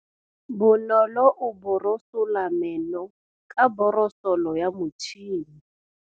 Bonolô o borosola meno ka borosolo ya motšhine.